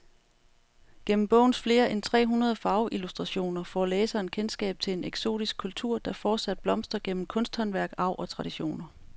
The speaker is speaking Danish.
Gennem bogens flere end tre hundrede farveillustrationer får læseren kendskab til en eksotisk kultur, der fortsat blomstrer gennem kunsthåndværk, arv og traditioner.